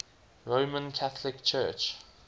roman catholic church